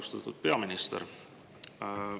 Austatud peaminister!